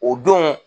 O don